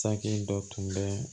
Saki dɔ tun bɛ